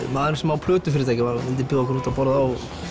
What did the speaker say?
maðurinn sem á plötufyrirtækið vildi bjóða okkur út að borða og